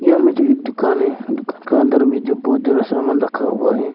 यहां में जो एक दुकान है दुकान का अंदर में जो बहुत ज्यादा सामान रखा हुआ है।